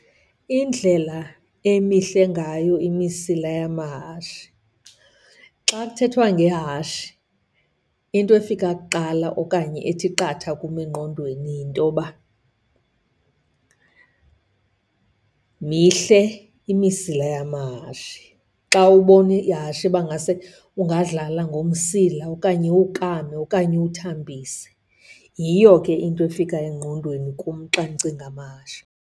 Indlela emihle ngayo imisila yamahashe. Xa kuthethwa ngehashe into efika kuqala okanye ethi qatha kum engqondweni yintoba mihle imisila yamahashe. Xa ubona ihashe bangase ungadlala ngomsila okanye uwukame okanye uwuthambise. Yiyo ke into efika engqondweni kum xa ndicinga amahashe.